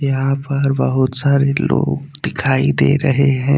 यहां पर बहुत सारे लोग दिखाई दे रहे हैं।